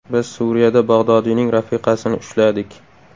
Biz Suriyada Bag‘dodiyning rafiqasini ushladik.